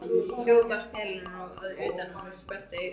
Hljóð barst til hennar að utan og hún sperrti eyrun.